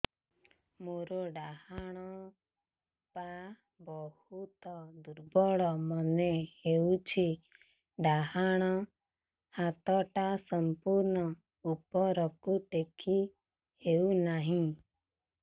ମୋର ଡାହାଣ ପାଖ ବହୁତ ଦୁର୍ବଳ ମନେ ହେଉଛି ଡାହାଣ ହାତଟା ସମ୍ପୂର୍ଣ ଉପରକୁ ଟେକି ହେଉନାହିଁ